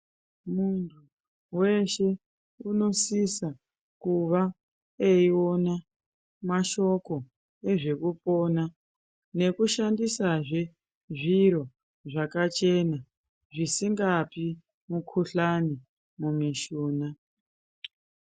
Weshe unosisa kuve eiona mashoko ezvekupona nekushandisazve zviro zvakachena zvisikapi mukuhlani mimushuna.